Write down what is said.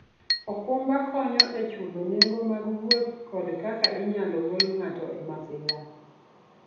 okumba konyo e chulo nengo mag wuoth kod kaka inyalo gol ng'ato e masira.